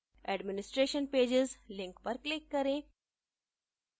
administration pages link पर click करें